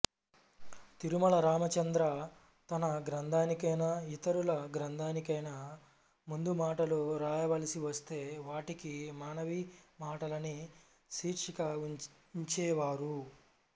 తిరుమల రామచంద్ర తన గ్రంథానికైనా ఇతరుల గ్రంథానికైనా ముందుమాటలు వ్రాయవలసివస్తే వాటికి మనవిమాటలని శీర్షిక ఉంచేవారు